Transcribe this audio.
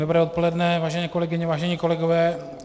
Dobré odpoledne, vážené kolegyně, vážení kolegové.